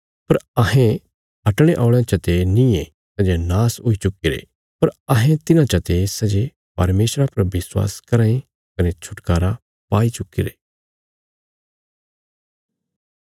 पर अहें हटणे औल़यां चते नींये सै जे नाश हुई चुक्कीरे पर अहें तिन्हां चते सै जे परमेशरा पर विश्वास कराँ ये कने छुटकारा पाई चुक्कीरे